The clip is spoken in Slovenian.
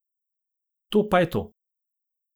To je pa to.